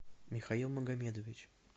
михаил магомедович